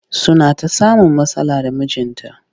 Suna ta samun matsala da mijinta